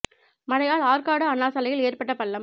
மழையால் ஆற்காடு அண்ணாசாலையில் ஏற்பட்ட பள்ளம்